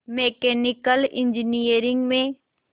mechanical engineering में